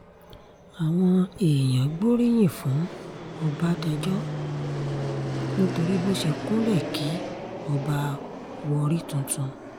àwọn èèyàn gbóríyìn fún ọbadáńjọ nítorí bó ṣe kúnlẹ̀ kí ọba warri tuntun